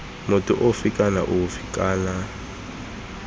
motho ofe kana ofe kana